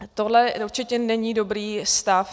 Tohle určitě není dobrý stav.